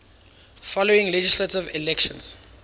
following legislative elections